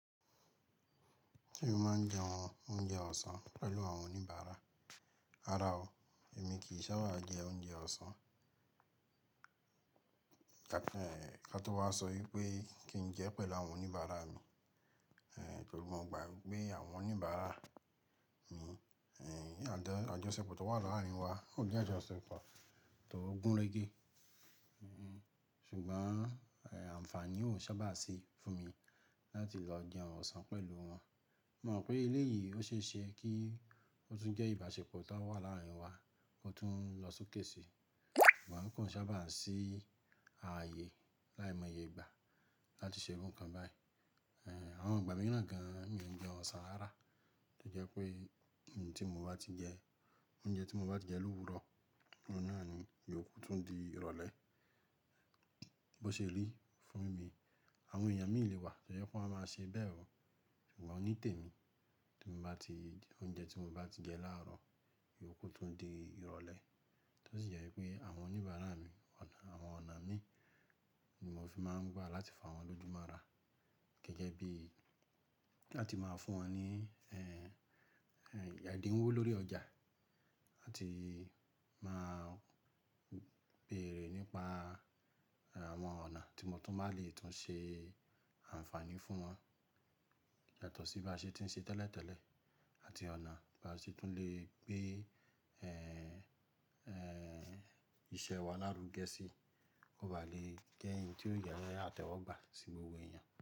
Èmi máa ń jẹ oúnjẹ ọ̀sán pẹ̀lú àwọn oníbàárà. Rárá o, èmi kì í sábà jẹ oúnjẹ ọ̀sán. Ká tọ́wọ́ wá sọ wípé kí n jẹ pẹ̀lú àwọn oníbàárà mi, torí mo mọ̀ gbà wípé àwọn oníbàárà mi, àjọṣepọ̀ tó wà láàárín wa. Ó jẹ́ àjọṣepọ̀ tó gúnrégé, Ṣùgbọ́n àǹfààní ò sábà sí fún mi láti lọ jẹun ọ̀sán pẹ̀lú wọn. Mo mọ̀ pé eléyìí ó ṣeéṣe kí ó tún jẹ́ ìbáṣepọ̀ tó wà láàárín wa kó tún lọ sókè sí i, ṣùgbọ́n kò sábà sí ààyè. Láìmọ́ye ìgbà láti ṣe ohun kan báyìí. Àwọn àgbà mi náà gan-an ò kí í jẹun ọ̀sán rárá, tó jẹ́ pé ohun tí mo bá ti jẹ oúnjẹ tí mo bá ti jẹ lówùúrọ̀, ọ̀nà náà ni yóò kó tún di ìrọ̀lẹ́ bó ṣe rí fún mi Àwọn èèyàn míì lè wà tó jẹ́ pé wọ́n máa ṣe bẹ́ẹ̀ o, ṣùgbọ́n ní tèmi, tí mo bá ti jẹ oúnjẹ tí mo bá ti jẹ láàárọ̀, yóò kó tún di ìrọ̀lẹ́. Tó sì jẹ́ wípé àwọn oníbàárà mi, àwọn ọ̀nà mi ni mo fi máa ń gbà láti fà wọ́n lójú mọ́ra gẹ́gẹ́ bí láti máa fún wọn ní ẹ̀dínwó lórí ọjà àti máa béèrè nípa àwọn ọ̀nà tí mo tún máa lè tún ṣe àǹfààní fún wọn yàtọ̀ sí bí a ṣe ti ń ṣe tẹ́lẹ̀tẹ́lẹ̀ àti ọ̀nà tí a ṣe tún lè gbé. Iṣẹ́ wa lárugẹ sí i kó baà lè jẹ́ ohun tí ó jẹ́ àtẹ́wọ́gbà sí gbogbo èèyàn.